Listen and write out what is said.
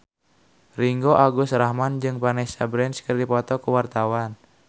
Ringgo Agus Rahman jeung Vanessa Branch keur dipoto ku wartawan